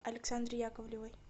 александре яковлевой